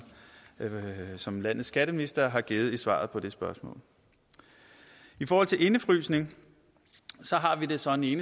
som landets skatteminister har givet i svaret på det spørgsmål i forhold til indefrysning har vi det sådan i